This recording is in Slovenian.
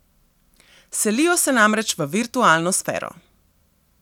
Selijo se namreč v virtualno sfero.